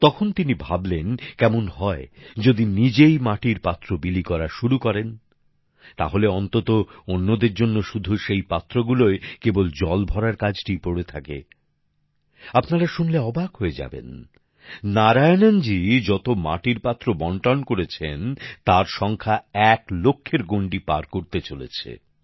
তখন তিনি ভাবলেন কেমন হয় যদি নিজেই মাটির পাত্র বিলি করা শুরু করেন তাহলে অন্তত অন্যদের জন্য শুধু সেই পাত্র গুলোয় কেবল জল ভরার কাজটিই পড়ে থাকে আপনারা শুনলে অবাক হয়ে যাবেন নারায়ণনজী যত মাটির পাত্র বন্টন করেছেন তার সংখ্যা এক লক্ষের গন্ডী পার করতে চলেছে